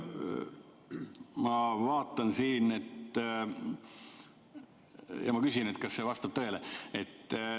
Ma vaatan siin ja küsin, kas see vastab tõele.